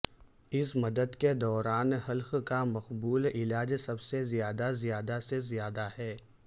اس مدت کے دوران حلق کا مقبول علاج سب سے زیادہ زیادہ سے زیادہ ہے